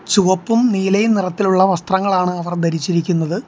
ചുവപ്പും നീലയും നിറത്തിലുള്ള വസ്ത്രങ്ങളാണ് അവർ ധരിച്ചിരിക്കുന്നത്.